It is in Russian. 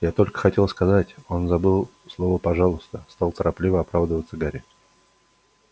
я только хотел сказать он забыл слово пожалуйста стал торопливо оправдываться гарри